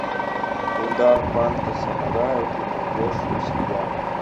удар панка самурая ты найдешь у себя